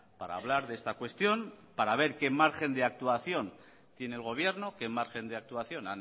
para hablar de esta cuestión para ver qué margen de actuación tiene el gobierno qué margen de actuación